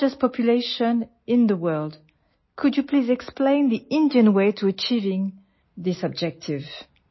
With the largest population in the world, could you please explain Indian way to achieving this objective